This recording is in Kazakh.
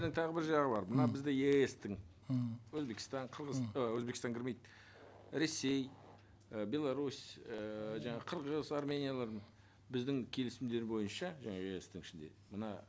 тағы бір жағы бар мына бізде еэс тың өзбекстан і өзбекстан кірмейді ресей і беларусь ііі жаңағы қырғыз армениялардың біздің келісімдер бойынша жаңа еэс тың ішінде мына